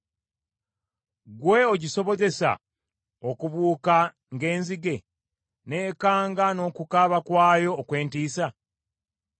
Ggwe ogisobozesa okubuuka ng’enzige n’ekanga n’okukaaba kwayo okw’entiisa?